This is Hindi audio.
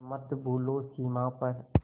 पर मत भूलो सीमा पर